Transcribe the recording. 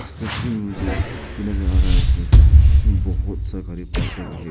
इस तस्वीर में मुझे ये नजर आ रहा है कि इसमें बहोत